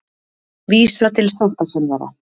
Vísa til sáttasemjara